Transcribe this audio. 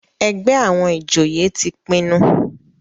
ègbé àwọn ìjòyè tí pinnu.